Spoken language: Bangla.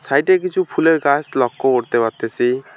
সাইডে কিছু ফুলের গাছ লক্ষ করতে পারতেসি।